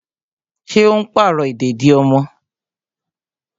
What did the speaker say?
Ṣé o n pàrọ̀ ìdèdí ọmọ?